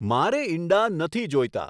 મારે ઈંડા નથી જોઈતા